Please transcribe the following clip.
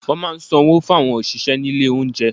Wọ́n máa ń san owó fún àwọn òṣìṣẹ́ ní ilé oúnjẹ.